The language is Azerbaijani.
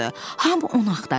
Hamı onu axtarırdı.